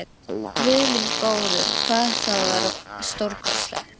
Guð minn góður, hvað það var stórkostlegt!